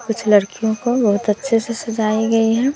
कुछ लड़कियों को बहोत अच्छे से सजाई गई हैं।